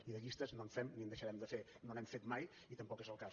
i de llistes no en fem ni en deixarem de fer no n’hem fet mai ni tampoc és el cas